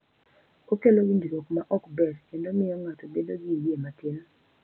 Okelo winjruok ma ok ber kendo miyo ng’ato bedo gi yie matin.